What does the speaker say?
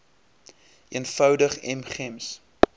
eenvoudig m gems